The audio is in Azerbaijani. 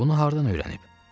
Bunu hardan öyrənib?